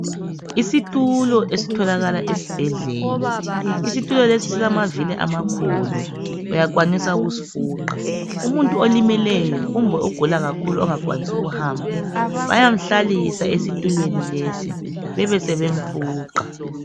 Isitulo esitholakala esibhedlela isitulo lesi silamavili amakhulu uyakwanisa ukusifuqa umuntu olimeleyo kumbe ogula kakhulu ongakwanisi ukuhamba bayamhalisa esitulweni lesi besebe mfuqa.